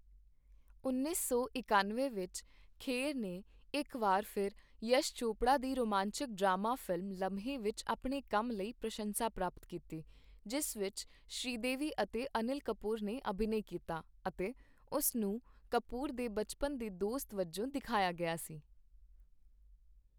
ਉੱਨੀ ਸੌ ਇਕੱਨਵੇਂ ਵਿੱਚ ਖੇਰ ਨੇ ਇੱਕ ਵਾਰ ਫਿਰ ਯਸ਼ ਚੋਪੜਾ ਦੀ ਰੋਮਾਂਚਕ ਡਰਾਮਾ ਫ਼ਿਲਮ 'ਲਮਹੇ' ਵਿੱਚ ਆਪਣੇ ਕੰਮ ਲਈ ਪ੍ਰਸ਼ੰਸਾ ਪ੍ਰਾਪਤ ਕੀਤੀ, ਜਿਸ ਵਿੱਚ ਸ਼੍ਰੀਦੇਵੀ ਅਤੇ ਅਨਿਲ ਕਪੂਰ ਨੇ ਅਭਿਨੈ ਕੀਤਾ ਅਤੇ ਉਸ ਨੂੰ ਕਪੂਰ ਦੇ ਬਚਪਨ ਦੇ ਦੋਸਤ ਵਜੋਂ ਦਿਖਾਇਆ ਗਿਆ ਸੀ।